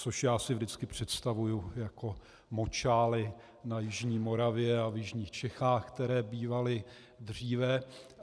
Což já si vždycky představuji jako močály na jižní Moravě a v jižních Čechách, které bývaly dříve.